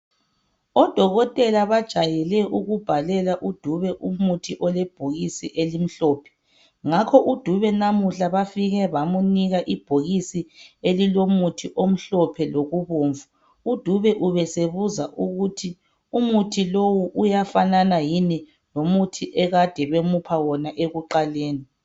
Odokotela bajayele ukubhalelwa uDube umuthi olebhokisini elimhlophe. Ngakho uDube namuhla bafike bamupha ibhokisi elilomuthi omhlophe lobomvu. uDube ubesebuza ukuthi umuthi lowu uyafanana yini lomuthi ade bemupha wona ekuqaleni.